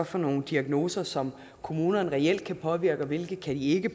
for nogle diagnoser som kommunerne reelt kan påvirke og hvilke de ikke